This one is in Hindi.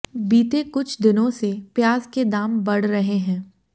बीते कुछ दिनों से प्याज के दाम बढ़ रहे हैं